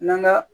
N'an ga